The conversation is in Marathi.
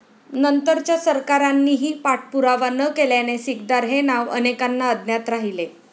नंतरच्या सरकारांनीही पाठपुरावा न केल्याने सिकदार हे नाव अनेकांना अज्ञात राहिले.